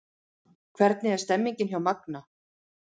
Hvernig er stemningin hjá Magna?